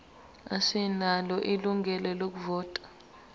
asinalo ilungelo lokuvota